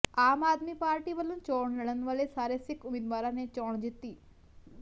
ਆਮ Aadmi party ਵੱਲੋਂ ਚੋਣ ਲੜਨ ਵਾਲੇ ਸਾਰੇ ਸਿੱਖ ਉਮੀਦਵਾਰਾਂ ਨੇ ਚੋਣ ਜਿੱਤੀ